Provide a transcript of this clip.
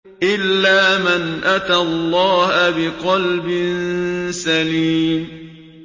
إِلَّا مَنْ أَتَى اللَّهَ بِقَلْبٍ سَلِيمٍ